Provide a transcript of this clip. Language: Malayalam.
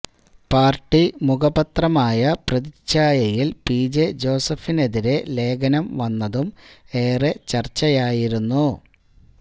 പാർട്ടി മുഖപത്രമായ പ്രതിച്ഛായയിൽ പിജെ ജോസഫിനെതിരെ ലേഖനം വന്നതും ഏറെ ചർച്ചയായിരുന്നു